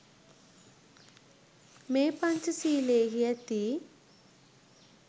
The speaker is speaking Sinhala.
මේ පංචසීලයෙහි ඇති